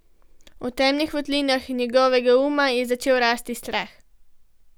V temnih votlinah njegovega uma je začel rasti strah.